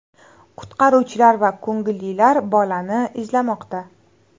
Qutqaruvchilar va ko‘ngillilar bolani izlamoqda.